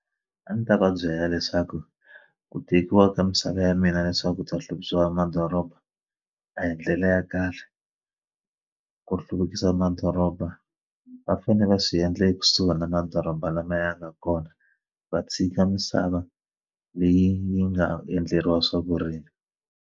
A ndzi ta va byela leswaku ku tekiwa ka misava ya mina leswaku bya hluvukisiwa madoroba a hi ndlela ya kahle ku hluvukisa madoroba va fanele va swi endle ekusuhi na madoroba lamaya a nga kona va tshika misava leyi yi nga endleriwa swa vurimi.